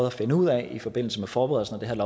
at finde ud af i forbindelse med forberedelsen af